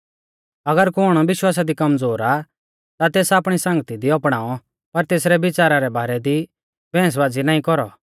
अगर कुण विश्वासा दी कमज़ोर आ ता तेस आपणी संगती दी अपणाऔ पर तेसरै बिच़ारा रै बारै दी बैहंसबाज़ी नाईं कौरौ